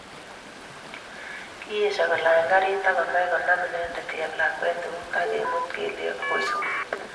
Kiesio kolany garit akomach konam inendet cheplakwet eut akemute kelyek agoi sukul